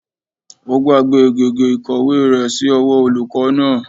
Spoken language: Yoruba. Ó gbàgbé gègé ìkọ̀wé rẹ̀ sí ọwọ́ olùkọ́ náà